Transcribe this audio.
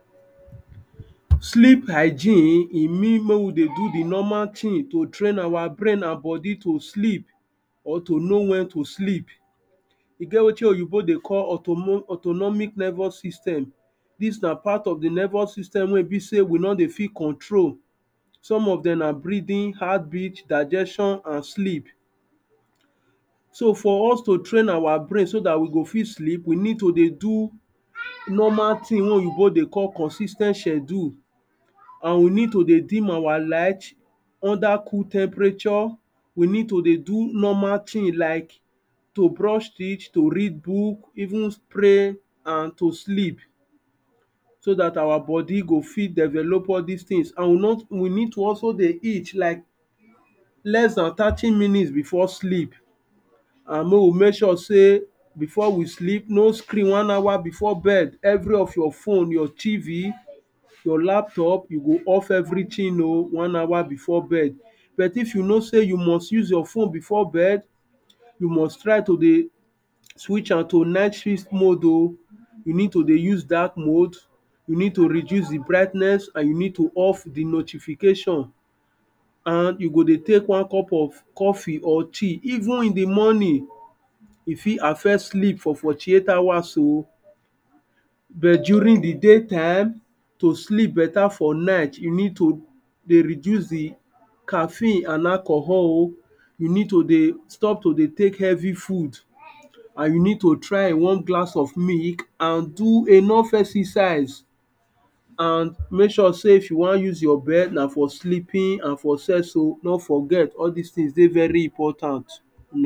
Sleep hygiene e mean make we dey do the normal thing to train our brain and body to sleep or to know when to sleep. E get wetin oyinbo dey call auto autonomic nervous system. Dis na part of the nervous system wey e be sey we no dey fit control. Some of dem na breathing, heart beat, digestion and sleep. So, for us to train our brain so dat we go fit sleep, we need to dey do, normal thing wey oyinbo dey call consis ten t schedule. And we need to dey dim our light, under cool temperature. We need to dey do normal thing like, to brush teeth, to read book even pray and to sleep. So dat our body go fit develop all dis things and we no we need to also dey eat like, less than thirty minutes before sleep. And mey we make sure sey before we sleep, no screen one hour before bed. Every of your phone, your tv you laptop, you go off everything um one hour before bed. But if you know sey you must use your phone before bed, you must try to dey push am to night shift mood oh. You need to dey use dark mood. You need to reduce the brightness and you need to off the notification. And you go dey take one cup of coffee or tea even in the morning. E fit affect sleep for forty eight hours oh. But during the day time, to sleep better for night you need to dey reduce the caffeine and alcohol um. You need to dey stop to dey take heavy food. And you need to try a one glass cup of milk and do enough exercise. And make sure sey if you wan use your bed na for sleeping and for sex um. No forget, all dis things dey dey important